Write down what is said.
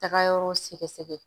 Taga yɔrɔ sɛgɛsɛgɛ